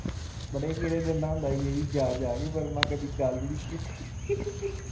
ਬੜੇ ਗੇੜੇ ਦਿੰਦਾ ਹੁੰਦਾ ਸੀ ਇਹ ਵੀ ਜਾ-ਜਾ ਕੇ ਪਰ ਮੈਂ ਕਦੀ ਗੱਲ ਈ ਨੀ ਕੀਤੀ ।